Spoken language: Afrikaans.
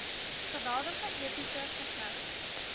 geweldige epiese versnellings